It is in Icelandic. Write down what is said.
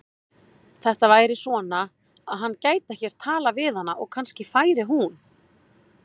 Þetta væri svona, að hann gæti ekkert talað við hana og kannski færi hún.